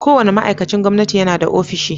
Kowane ma'aikacin gwamnati yana da ofishi.